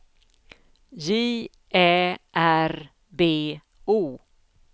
J Ä R B O